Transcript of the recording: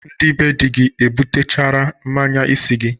Ndị be di gi ebutachara mmanya isi gi?